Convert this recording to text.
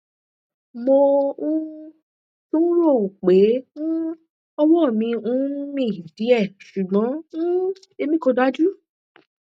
mo um tún ń ròó pé um ọwọ mi ń mì díẹ ṣùgbọn um èmi kò dájú